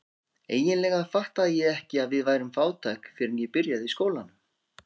Eiginlega fattaði ég ekki að við værum fátæk fyrr en ég byrjaði í skólanum.